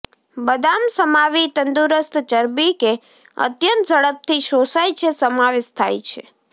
બદામ સમાવી તંદુરસ્ત ચરબી કે અત્યંત ઝડપથી શોષાય છે સમાવેશ થાય છે